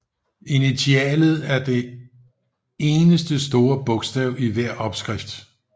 Initialet er den eneste store bogstav i hver opskrift